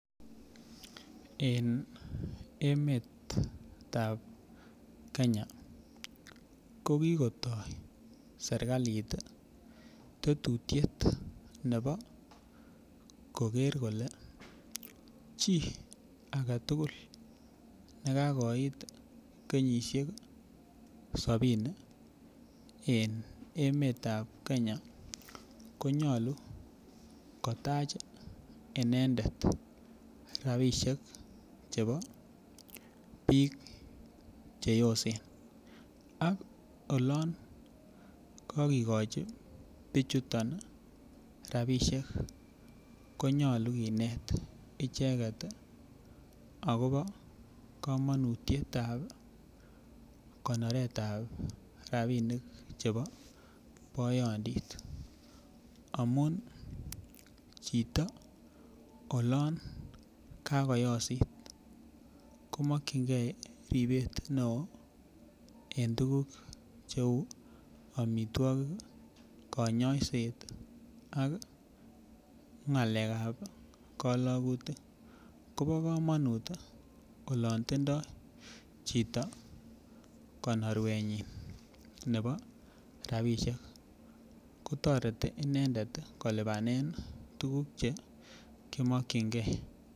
En emetab Kenya ko kikoitoo serkalit tetutyet nebo koker kole chii aketugul nekakoiit kenyisiek sobini en emet ab Kenya konyolu kotach inendet rapisiek chebo biik cheosen ak olon kakikochi bichuton rapisiek konyolu kinet icheket akobo komonutietab konoretab rapinik chebo boyondit amun chito olon kakoyosit komokyingee ribet neoo en tuguk cheu amitwogik ih konyoiset ak ng'alek ab kolokutik kobo komonut olon tindoo chito konorwetnyin nebo rapisiek kotoreti inendet kolipanen tuguk chemokiyingee